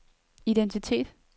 identitet